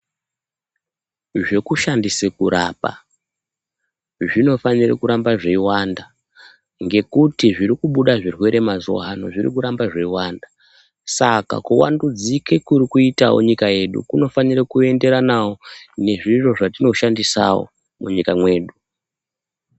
Zvekushandise kurapa, zvinofanire kuramba zveiwanda, ngekuti zviri kubuda zvirwere mazuwaano, zviri kuramba zveiwanda. Saka kuwandudzike kuri kuitawo nyika yedu kunofanire kuenderanawo, nezviro zvetinoshandisawo, munyika mwedu.